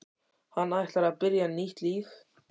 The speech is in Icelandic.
Hann ætlar að byrja nýtt líf.